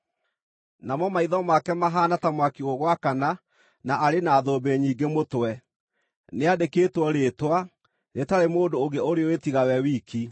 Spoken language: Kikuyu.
Namo maitho make mahaana ta mwaki ũgwakana, na arĩ na thũmbĩ nyingĩ mũtwe. Nĩandĩkĩtwo rĩĩtwa, rĩtarĩ mũndũ ũngĩ ũrĩũĩ tiga we wiki.